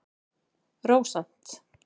Rósant